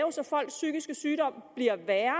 folks psykiske sygdom bliver værre